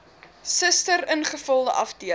suster ingevulde afdeling